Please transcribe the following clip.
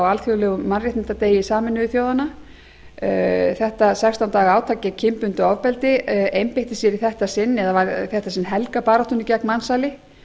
alþjóðlegum mannréttindadegi sameinuðu þjóðanna þetta sextán daga átak gegn kynbundnu ofbeldi einbeitti sér í þetta sinn eða var í þetta sinn helgað baráttunni gegn mansali